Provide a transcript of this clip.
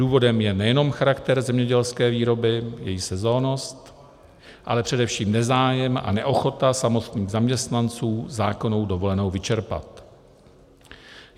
Důvodem je nejenom charakter zemědělské výroby, její sezónnost, ale především nezájem a neochota samotných zaměstnanců zákonnou dovolenou vyčerpat.